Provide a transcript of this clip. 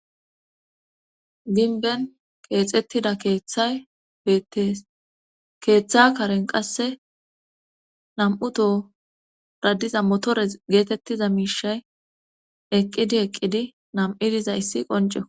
Dinben keexettida keeththay bete keeththa karen qasse nam7uto radiza motore geetettiza miishay eqqidi eqqidi nam7idiza issi qonce.